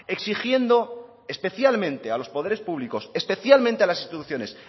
exigiendo especialmente a los poderes públicos especialmente a las instituciones